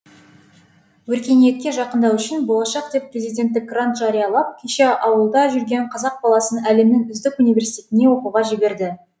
өркениетке жақындау үшін болашақ деп президенттік грант жариялап кеше ауылда жүрген қазақ баласын әлемнің үздік университетіне оқуға жіберді